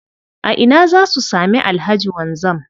A ina za su sami Alhaji Wanzam?